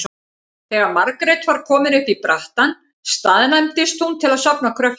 Þegar Margrét var komin upp í brattann staðnæmdist hún til að safna kröftum.